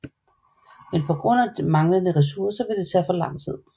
Men på grund af manglende resourcer vil det tage for lang tid